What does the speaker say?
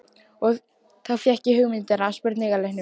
Og þá fékk ég hugmyndina að spurningaleiknum.